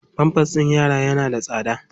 Pampers ɗin yara yana da tsada.